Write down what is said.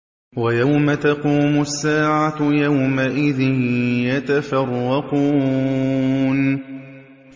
وَيَوْمَ تَقُومُ السَّاعَةُ يَوْمَئِذٍ يَتَفَرَّقُونَ